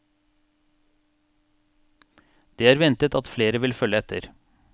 Det er ventet at flere vil følge etter.